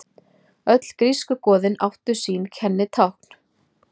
Öll grísku goðin áttu sín kennitákn.